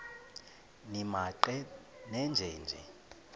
nimaqe nenje nje